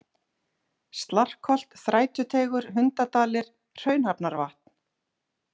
Slarkholt, Þrætuteigur, Hundadalir, Hraunhafnarvatn